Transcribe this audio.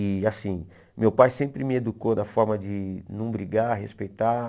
E assim, meu pai sempre me educou da forma de não brigar, respeitar.